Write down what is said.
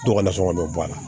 To ka na sɔn ka n'o bɔ a la